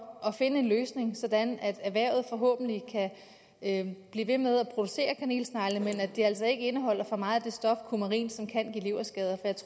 at finde en løsning sådan at erhvervet forhåbentlig kan blive ved med at producere kanelsnegle men så de altså ikke indeholder for meget af stoffet kumarin som kan give leverskader